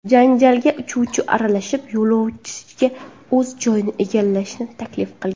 Janjalga uchuvchi aralashib, yo‘lovchiga o‘z joyini egallashni taklif qilgan.